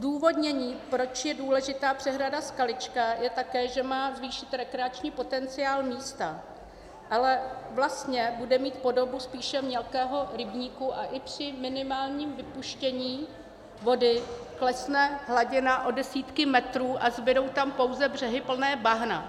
Zdůvodnění, proč je důležitá přehrada Skalička, je také, že má zvýšit rekreační potenciál místa, ale vlastně bude mít podobu spíše mělkého rybníku a i při minimálním vypuštění vody klesne hladina o desítky metrů a zbudou tam pouze břehy plné bahna.